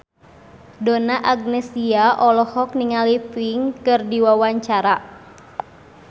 Donna Agnesia olohok ningali Pink keur diwawancara